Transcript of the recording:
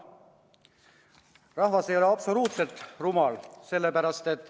Rahvas ei ole absoluutselt rumal.